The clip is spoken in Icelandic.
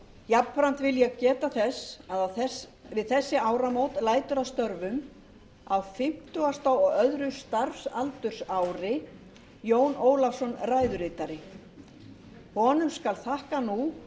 jafnframt vil ég geta þess að við þessi áramót lætur af störfum á fimmtugasta og önnur starfsaldursári jón ólafsson ræðuritari honum skal þakkað nú